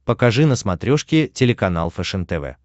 покажи на смотрешке телеканал фэшен тв